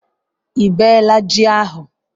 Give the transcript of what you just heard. Ị bee la ji ahu?